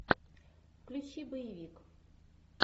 включи боевик